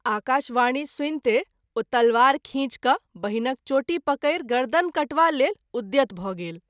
आकाशवाणी सुनिते ओ तलवार खींच क’ बहिनक चोटी पकैरि गर्दन काटवा लेल उद्यत भ’ गेल।